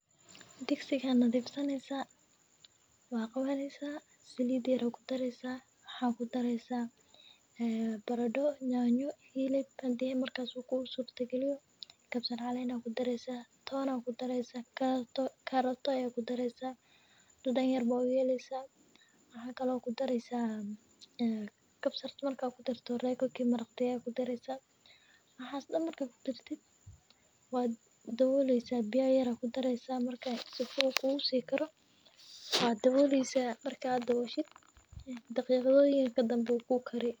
Digsiga markaad nadiifinayso, saliid yar ku shub. Waxa ku daraysaa yaanyo, baradho, hilib haddii ay suuragal tahay, kabsar iyo caleen ku daree. Toon iyo karootana ku daree. Dhadhan yar u yeel (Royco cube). Maraq dhigaag ah ku dar, biyo yar ku dar, dabool oo sii u diga. Daqiiqado kadib wuu kugu karsamayaa.